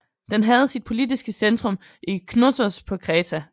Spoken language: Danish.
Den havde sit politiske centrum i Knossos på Kreta